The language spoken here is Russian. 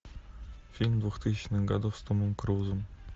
фильм двухтысячных годов с томом крузом